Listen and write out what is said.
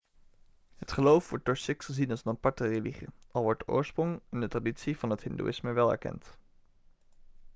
het geloof wordt door sikhs gezien als een aparte religie al wordt de oorsprong en de traditie van het hindoeïsme wel erkend